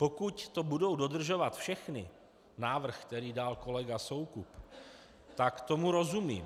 Pokud to budou dodržovat všechny, návrh, který dal kolega Soukup, tak tomu rozumím.